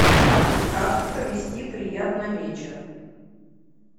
как провести приятно вечер